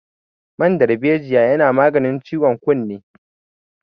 Man dalbejiya yana maganin ciwon kunne